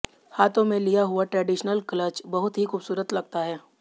हाथों में लिया हुआ ट्रेडिशनल क्लच बहुत ही खूबसूरत लगता है